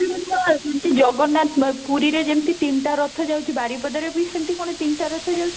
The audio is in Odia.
ପରା ଆସନ୍ତି ଜଗନ୍ନାଥ ପୁରୀ ରେ ଯେମିତି ତିନଟା ରଥ ଯାଉଛି, ବାରିପଦା ରେବି ସେମିତି ତିନଟା ରଥ ଯାଉଛି